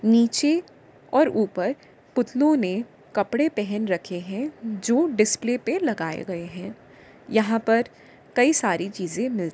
नीचे और ऊपर पुतलों ने कपड़े पहन रखे हैं जो डिस्प्ले पे लगाये गए हैं यहां पर कई सारे चीज़्े --